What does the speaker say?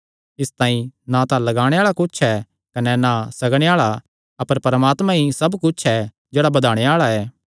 इसतांई ना तां लगाणे आल़ा कुच्छ ऐ कने ना सग्गणे आल़ा अपर परमात्मा ई सब कुच्छ ऐ जेह्ड़ा बधाणे आल़ा ऐ